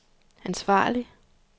ansvarlig